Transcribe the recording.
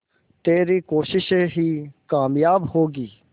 तेरी कोशिशें ही कामयाब होंगी